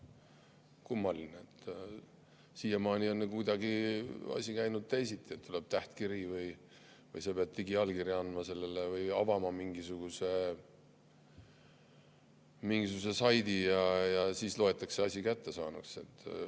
Kummaline, siiamaani on asi käinud kuidagi teisiti, tuleb tähtkiri või sa pead digiallkirja andma sellele või avama mingisuguse saidi ja siis loetakse asi kättesaaduks.